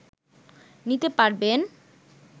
নিতে পারবেন